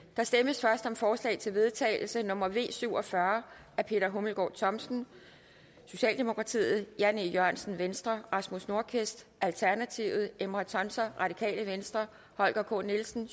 der stemmes først om forslag til vedtagelse nummer v syv og fyrre af peter hummelgaard thomsen jan e jørgensen rasmus nordqvist emrah tuncer holger k nielsen